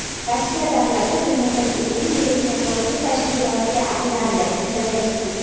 Rossiya davlati dunyodagi eng yirik terrorchi tashkilotga aylandi – Zelenskiy.